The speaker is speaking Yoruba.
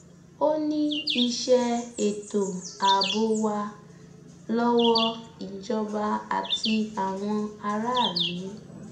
ó ní iṣẹ ètò ààbò wa lọwọ ìjọba àti àwọn aráàlú